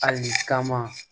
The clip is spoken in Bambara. Ali kama